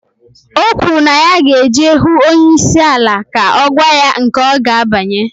Okwuru na ya ga eje huu onye isi ala ka ogwa ya nke oga abanye.